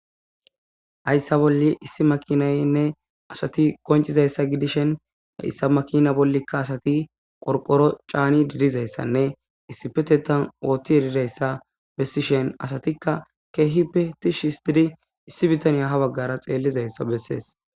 ayssa bolle issi makinaynne asati koncizayssa gidishen da issa makina bollikka asati qorqoro caani didizayssanne issi petetan oothti yedidayssa bessishen asatikka keehi petishi histidi issi bitaniya ha baggara xeellizayssa bessees